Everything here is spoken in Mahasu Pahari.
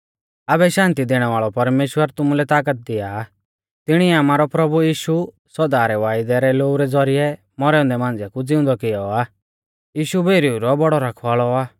आबै शान्ति दैणै वाल़ौ परमेश्‍वर तुमुलै तागत दिया आ तिणीऐ आमारौ प्रभु यीशु सौदा रै वायदै रै लोऊ रै ज़ौरिऐ मौरै औन्दै मांझ़िऐ कु ज़िउंदौ कियौ आ यीशु भेरीऊ रौ बौड़ौ रखवाल़ौ आ